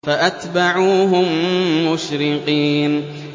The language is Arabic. فَأَتْبَعُوهُم مُّشْرِقِينَ